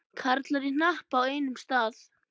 Karlar í hnapp á einum stað.